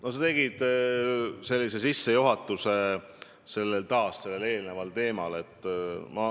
No sa tegid taas oma küsimusele sissejuhatuse, puudutades eelmist teemat.